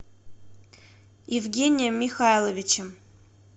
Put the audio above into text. евгением михайловичем